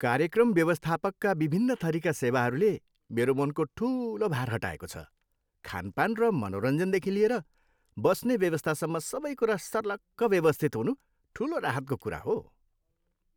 कार्यक्रम व्यवस्थापकका विभिन्न थरिका सेवाहरूले मेरो मनको ठुलो भार हटाएको छ, खानपान र मनोरञ्जनदेखि लिएर बस्ने व्यवस्थासम्म सबै कुरा सर्लक्क व्यवस्थित हुनु ठुलो राहतको कुरा हो।